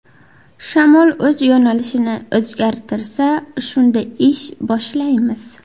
Shamol o‘z yo‘nalishini o‘zgartirsa shunda ish boshlaymiz.